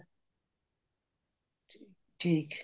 ਠੀਕ